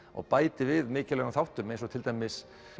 og bætir við mikilvægum þáttum eins og til dæmis